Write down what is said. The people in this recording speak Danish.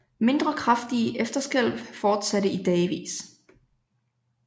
Mindre kraftige efterskælv fortsatte i dagevis